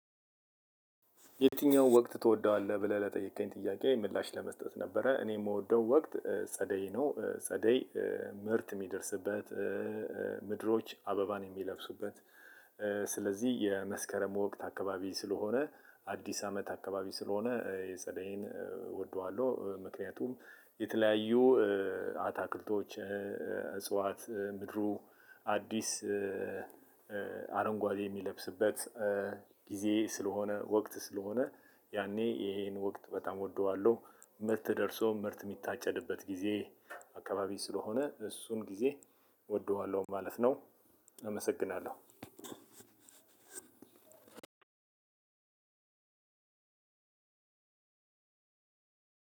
የትኛው? ወቅት ትወደዋለህ ብለህ ለጠየከኝ ጥያቄ ምላሽ ለመስጠት ነበረ እኔ የምወደው ወቅት ጸደይ ነው ጸደይ ምርት የሚደርስበት ምድሮች አበባን የሚለብሱበት ስለዚህ የመስከረም ወቅት አካባቢ ስለሆነ አዲስ አመት አካባቢ ስለሆነ የጸደይን እወደዋለሁ። ምክንያቱም የተለያዩ አታክልቶች እጽዋት ምድሩ አዲስ አረንጓዴ የሚለብስበት ጊዜ ስለሆነ ወቅት ስለሆነ ያኔ ይሄን ወቅት በጣም እወደዋለሁ። ምርት ደርሶ ምርት የሚታጨድበት ጊዜ አካባቢ ስለሆነ እሱን ጊዜ እወደዋለሁ ማለት ነው። አመሰግናለሁ።